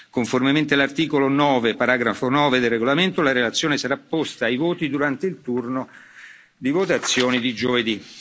Conformemente all'articolo 9, paragrafo 9, del regolamento, la relazione sarà posta ai voti durante il turno di votazione di giovedì.